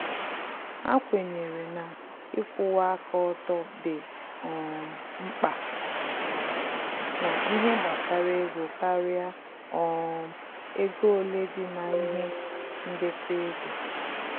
Ha kwenyere na ikwuwa aka ọtọ dị um mkpa na ihe gbasara ego karịa um ego ole dị na-ihe ndekọ ego